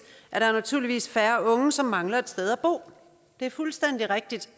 er der naturligvis færre unge som mangler et sted at bo det er fuldstændig rigtigt